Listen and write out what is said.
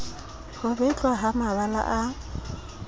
ho betlwa ha mabala a